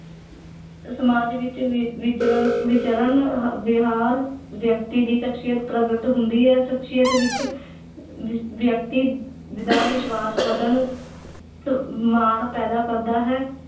ਸਮਾਜ ਵਿੱਚ ਵਿ ਵਿਚਰਨ, ਵਿਚਰਨ ਹ ਵਿਹਾਰ ਵਿਅਕਤੀ ਦੀ ਸ਼ਖ਼ਸੀਅਤ ਪ੍ਰਗਟ ਹੁੰਦੀ ਹੈ, ਸ਼ਖ਼ਸੀਅਤ ਵਿੱਚ ਵਿਅਕਤੀ ਦਾ ਵਿਸ਼ਵਾਸ ਵਧਣ ਤੇ ਮਾਣ ਪੈਦਾ ਕਰਦਾ ਹੈ